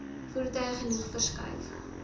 voertuie genoeg verskuif